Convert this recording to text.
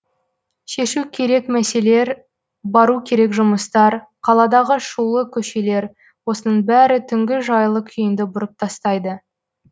шешу керек мәселер бару керек жұмыстар қаладағы шулы көшелер осының бәрі түнгі жайлы күйінді бұрып тастайды